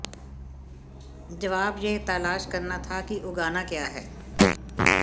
जवाब यह तलाश करना था कि उगाना क्या है